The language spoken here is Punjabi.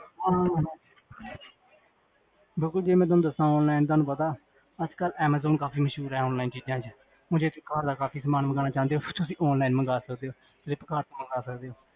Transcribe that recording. ਅਹ ਬਿਲਕੁਲ ਜੇ ਮੈਂ ਤੁਹਾਨੂ ਦਸਾਂ online ਤੁਹਾਨੂੰ ਪਤਾ, ਅਜਕਲ ਐਮਾਜ਼ਾਨ ਕਾਫੀ ਮਸ਼ਹੂਰ ਹੈ online ਚੀਜਾ ਚ ਹੁਣ ਜੇ ਤੁਸੀਂ ਘਰ ਦਾ ਕਾਫੀ ਸਮਾਨ ਮੰਗਵਾਨਾ ਚਾਹੰਦੇ ਹੋ, ਤੁਸੀਂ online ਮੰਗਾ ਸਕਦੇ ਹੋ ਫਲਿੱਪਕਾਰਟ ਤੋ ਮੰਗਾ ਸਕਦੇ ਹੋ